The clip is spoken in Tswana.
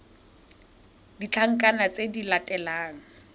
le ditlankana tse di latelang